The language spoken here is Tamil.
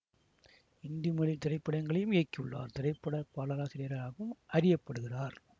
இந்தி மொழி திரைப்படங்களையும் இயக்கியுள்ளார் திரைப்பட பாடலாசிரியராகவும் அறிய படுகிறார்